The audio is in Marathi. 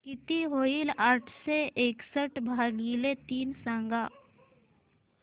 किती होईल आठशे एकसष्ट भागीले तीन सांगा